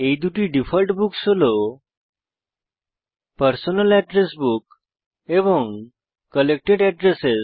এই দুটি default books হল পারসোনাল অ্যাড্রেস বুক এবং কালেক্টেড অ্যাড্রেস